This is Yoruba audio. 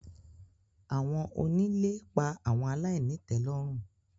Awọn onile pa awọn alainitelorun